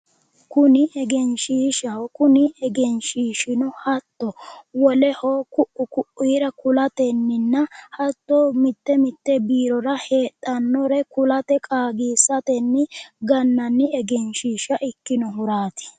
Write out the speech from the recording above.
Kuni egenshishshaho, kuni egenshishshino hatto woleho kuu'u ko'ira kulateninna hatto mite mite biirora heedhanore kulate qaagisateni gananni egenshishsha ikkinohurati